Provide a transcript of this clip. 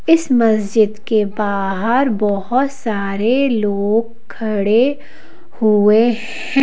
इस मस्जिद के बाहर बहुत सारे लोग खड़े हुए हैं।